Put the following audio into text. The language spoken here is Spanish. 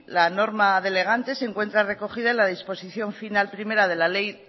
la norma delegante se encuentra recogida en la disposición final primera de la ley